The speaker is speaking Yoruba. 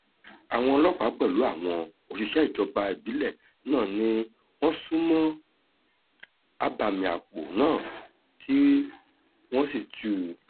àwọn ọlọ́pàá pẹ̀lú àwọn òṣìṣẹ́ ìjọba ìbílẹ̀ náà ni wọ́n sún mọ́ abàmì àpò náà tí wọ́n sì tú u